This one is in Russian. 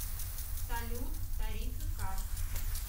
салют тарифы карт